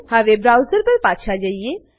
હવે બ્રાઉઝર પર પાછા જઈએ